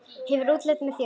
Hefur útlitið með þér.